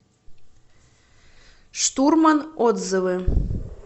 штурман отзывы